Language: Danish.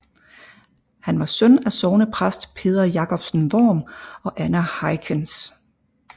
Han var søn af sognepræst Peder Jacobsen Worm og Anna Heichens